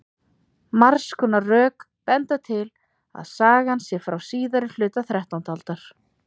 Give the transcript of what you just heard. Margs konar rök benda til að sagan sé frá síðari hluta þrettándu aldar.